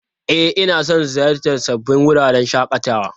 E, ina son ziyartar sabbin wuraren shakatawa.